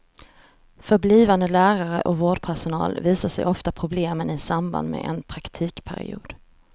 För blivande lärare och vårdpersonal visar sig oftast problemen i samband med en praktikperiod.